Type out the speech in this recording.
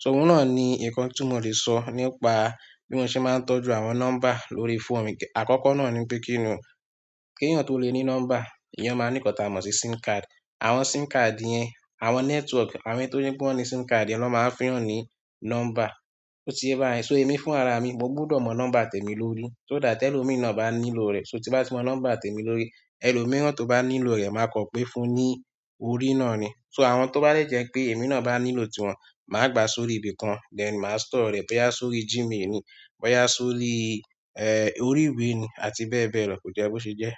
So oun na ni nkan ti mo le so nípa bi mo se maa n tọ́jú àwọn nọ́mbà lórí fóònù mi akoko na ni pe kini o ki eyan to le ni nọ́mbà eyan maa ni nkan ti a mo si Sim card. Àwọn SIM card yẹn, àwọn network, àwọn èni tó je pe won ní SIM card, lo máa wa feyàn ní nọ́mbà. Ó ti yé bá yẹn. So èmi fúnra ara mi, mo gbọdọ̀ mọ nọ́mbà tèmi lórí. So that tẹ́ ẹ lò mí náà bá nílò rẹ̀, so tí bá ti mọ nọ́mbà tèmi lórí, ẹlòmíràn tó bá nílò rẹ̀ máa kọ pé fún un ní orí náà ni. So àwọn tó bá de jẹ́ pé èmi náà bá nílò tí wọn, màá gba sórí ibi kan, then màá store rẹ̀ boya sórí Gmail mi, boya sórí, ẹ́ orí ìwé ni àti bẹ́ẹ̀ bẹ́ẹ̀ lọ, kò jẹ́ bo ṣe jẹ́.